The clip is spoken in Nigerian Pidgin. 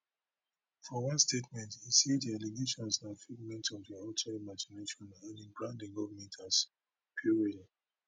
for one statement e say di allegations na figment of di author imagination and e brand di government as puerile